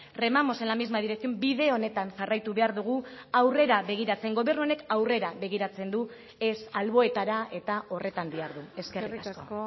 remamos en la misma dirección bide honetan jarraitu behar dugu aurrera begiratzen gobernu honek aurrera begiratzen du ez alboetara eta horretan dihardu eskerrik asko